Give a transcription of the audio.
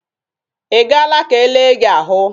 Ị gaala ka e le gị ahụ?